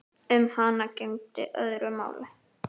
Um hana gegndi öðru máli.